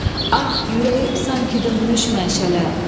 Ah, ürəyim sanki dönmüş məşələ.